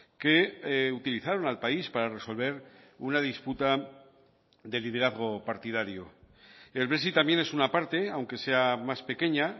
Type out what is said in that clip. que utilizaron al país para resolver una disputa de liderazgo partidario el brexit también es una parte aunque sea más pequeña